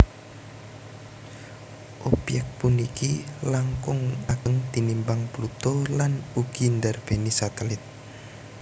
Obyék puniki langkung ageng tinimbang Pluto lan ugi ndarbèni satelit